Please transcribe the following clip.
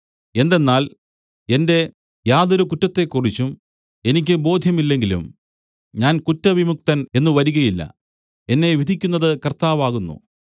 എന്തെന്നാൽ എന്റെ യാതൊരു കുറ്റത്തെക്കുറിച്ചും എനിക്ക് ബോധ്യമില്ലെങ്കിലും ഞാൻ കുറ്റവിമുക്തൻ എന്നു വരികയില്ല എന്നെ വിധിക്കുന്നത് കർത്താവ് ആകുന്നു